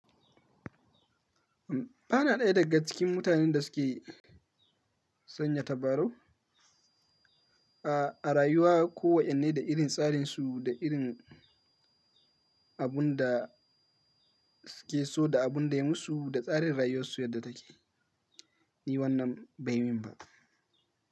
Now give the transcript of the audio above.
Bana ɗaya daga cikin mutanen da suke sanya tabarau a rayuwa. Ko wa'inne da irin tsarin su, da irin abunda suke so, da abunda ya musu, da tsarin rayuwar su yadda take, ni wannan bai yi min ba.